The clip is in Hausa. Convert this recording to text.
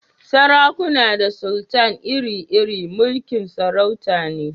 Sarakuna da sultan ire-iren mulki'n sarauta ne.